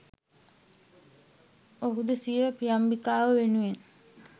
ඔහුද සිය ප්‍රියම්බිකාව වෙනුවෙන්